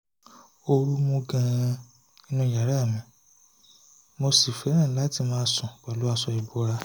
ooru mú gan-an nínú yàrá mi mo sì fẹ́ràn láti máa sùn pẹ̀lú aṣọ ìbora